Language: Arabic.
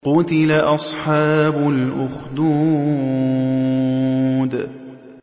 قُتِلَ أَصْحَابُ الْأُخْدُودِ